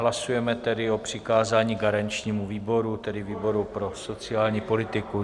Hlasujeme tedy o přikázání garančnímu výboru, tedy výboru pro sociální politiku.